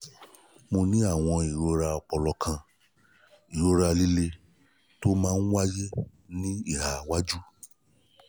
mo ní àwọn ìrora ọpọlọ kan: ìrora líle tó máa ń wáyé ní ìhà iwájú